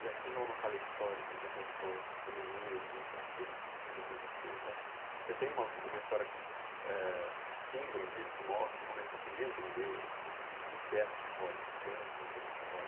E assim como aquela história que você contou do menino que se alfabetiza tal com você e tal, você tem uma uma história, que eh símbolo disso, que mostra como ele conseguiu entender o que que é fato histórico, o que que é entender fato histórico?